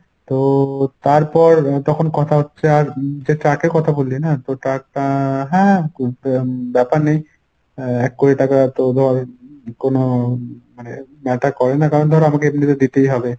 তো তারপর তখন কথা হচ্ছে আর যে truck এর কথা বললি না তো tuck টা হ্যাঁ ব্যপার নেই এর এক কোটি টাকা তো ধর কোনো মানে matter করে না কারণ ধর আমাকে এমনিতে দিতেই হবে।